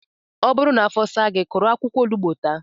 Ọ bụrụ na afo saa gị, kụrụ akwụkwọ onugbu taa